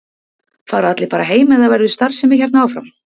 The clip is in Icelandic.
Fara allir bara heim eða verður starfsemi hérna áfram?